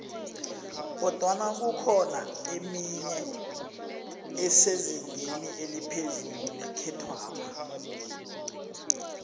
kodwana kukhona emenye esezingeni eliphezu nekhethwapha